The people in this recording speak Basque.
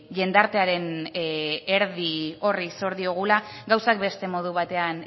jendartearen erdi horri zor diogula gauzak beste modu batean